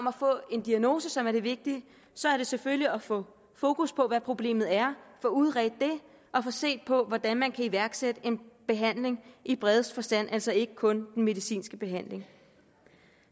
at få en diagnose som er det vigtige så er det selvfølgelig at få fokus på hvad problemet er få udredt det og få set på hvordan man kan iværksætte en behandling i bredeste forstand altså ikke kun den medicinske behandling